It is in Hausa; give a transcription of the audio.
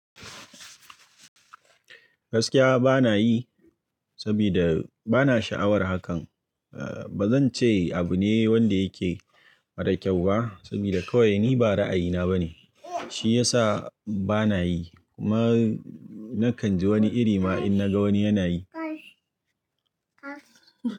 Gaskiya bana yi, saboda bana sha'awar hakan. Ba zan ce abu ne wanda yake mara kyau ba, saboda kawai ni ba ra'ayina ba ne. Shi ya sa bana yi, kuma na kan ji wani iri ma in na ga wani yana yi.